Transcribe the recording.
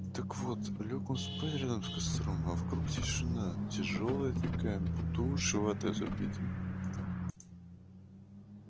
так вот лёг он спать рядом с костром а вокруг тишина тяжёлая такая будто уши ватой забиты